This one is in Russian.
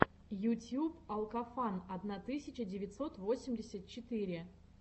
ютьюб алкофан одна тысяча девятьсот восемьдесят четыре